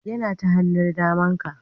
Yana ta hannun daman ka